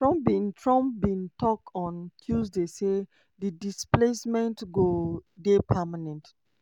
trump bin trump bin tok on tuesday say di displacement go dey permanent.